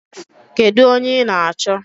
Kedu onye ị na-achọ?